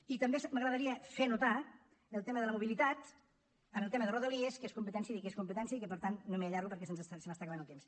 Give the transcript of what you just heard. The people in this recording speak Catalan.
i també m’agradaria fer notar el tema de la mobilitat en el tema de rodalies que és competència de qui és competència i que per tant no m’hi allargo perquè se m’està acabant el temps